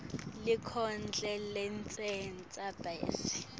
lenkondlo lengentasi bese